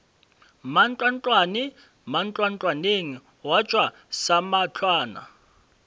mantlwantlwane mantlwantlwaneng gwa tšwa samahlwana